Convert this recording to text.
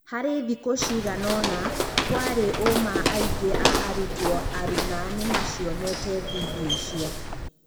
Harĩ thikũ ciganaona, kũarĩ ũma aingĩ a arutwo aruna nĩmacionete vindioicio.